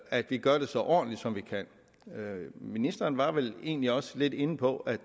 at vi gør det så ordentligt som vi kan ministeren var vel egentlig også lidt inde på at